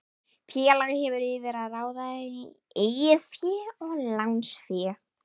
Félag hefur yfir að ráða eigið fé og lánsfé.